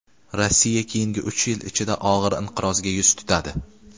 Rossiya keyingi uch yil ichida og‘ir inqirozga yuz tutadi.